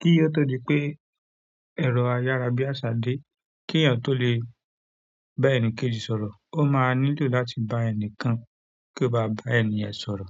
Kí o to dí pé ẹ̀rọ ayára bí àsá dé kí èèyàn tó lè bá ẹni kejì sọ̀rọ̀, ó máa nílò láti bá ẹni kan kó bá ba ẹni yẹ̀n sọ̀rọ̀.